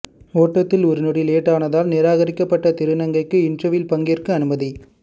ஓட்டத்தில் ஒரு நொடி லேட் ஆனதால் நிராகரிக்கப்பட்ட திருநங்கைக்கு இன்டர்வியூவில் பங்கேற்க அனுமதி